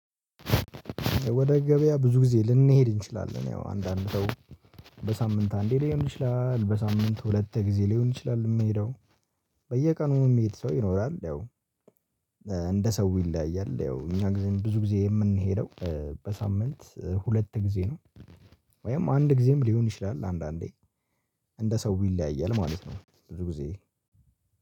ወደ ገበያ ብዙ ጊዜ ልንሄድ እንችላለን ያው አንዳንድ ሰው በሳምንት አንዴ ሊሆን ይችላል በሳምንት ሁለት ጊዜ ሊሆን ይችላል። የምሄደው በየቀኑ የሚሄድ ሰው ይኖራል። ያው እንደ ሰው ይለያያል። ያው እኛ ጊዜ ብዙ ጊዜ የምንሄደው በሳምንት ሁለት ጊዜ ነው። ወይም አንድ ጊዜም ሊሆን ይችላል አንዳንዴ እንደ ሰው ይለያያል ማለት ነው። ብዙ ጊዜ